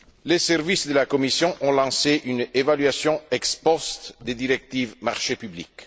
Les services de la Commission ont lancé une évaluation ex post des directives Marchés publics.